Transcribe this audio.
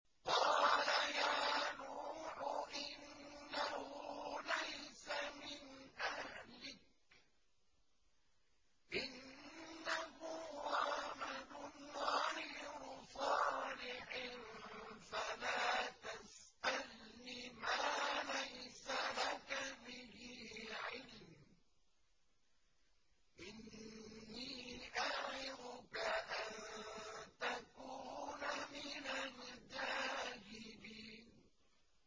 قَالَ يَا نُوحُ إِنَّهُ لَيْسَ مِنْ أَهْلِكَ ۖ إِنَّهُ عَمَلٌ غَيْرُ صَالِحٍ ۖ فَلَا تَسْأَلْنِ مَا لَيْسَ لَكَ بِهِ عِلْمٌ ۖ إِنِّي أَعِظُكَ أَن تَكُونَ مِنَ الْجَاهِلِينَ